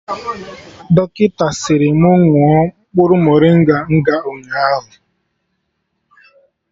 Dọkịta sịrị mụ ṅụọ mkpụrụ morịnga nga ụnyaahụ